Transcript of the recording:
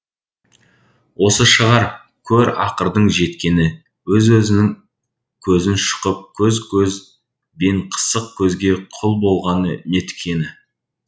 осы шығар көр ақырдың жеткені өз өзінің көзін шұқып көк көз бенқысық көзге құл болғаны неткені